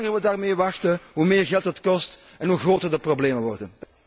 En hoe langer we daarmee wachten, hoe meer geld het kost en hoe groter de problemen worden.